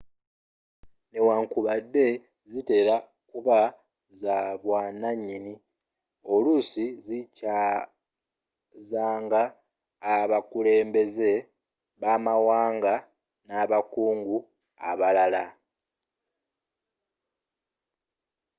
newankubadde zitera kuba z'abwannanyini oluusi z'akyaazanga abakulembeze b'amawanga nabakungu abalala